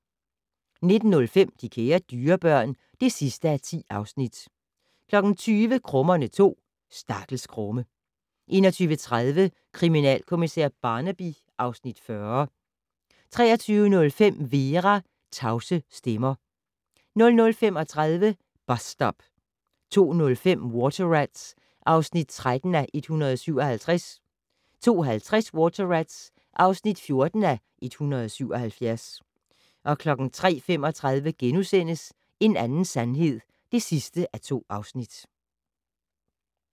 19:05: De kære dyrebørn (10:10) 20:00: Krummerne 2: Stakkels Krumme 21:30: Kriminalkommissær Barnaby (Afs. 40) 23:05: Vera: Tavse stemmer 00:35: Bus Stop 02:05: Water Rats (13:177) 02:50: Water Rats (14:177) 03:35: En anden sandhed (2:2)*